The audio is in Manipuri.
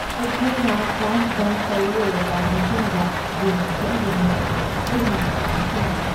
ꯑꯩꯈꯣꯏꯅ ꯀ꯭ꯂꯥꯁ ꯕꯪꯛ ꯇꯧ ꯂꯣꯏꯔꯕ ꯃꯇꯨꯡꯗ ꯌꯦꯡꯕ ꯆꯠꯂꯨꯕ ꯃꯦꯆꯇꯣ ꯑꯩ ꯍꯧꯖꯤꯛꯁꯨ ꯅꯤꯡꯁꯤꯡꯂꯤ꯫